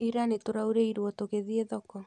Ira nĩtũraurĩirwo tũgĩthiĩ thoko